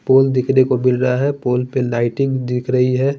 पोल दिखें को मिल रहा है पोल पर लाइटिंग दिख रही है।